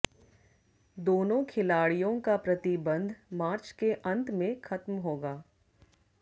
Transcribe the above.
दोनों खिलाड़ियों का प्रतिबंध मार्च के अंत में खत्म होगा